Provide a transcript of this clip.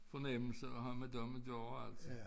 Fornemmelse af have med dem at gøre altså